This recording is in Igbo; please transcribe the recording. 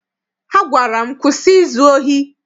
Ha gwara m, kwụsị izu ohi!